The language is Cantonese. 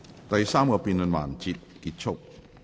第三個辯論環節結束。